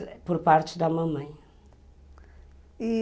Mas por parte da mamãe, e